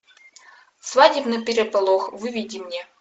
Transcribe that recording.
свадебный переполох выведи мне